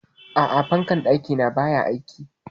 A'a, fankar ɗaki na baya aiki?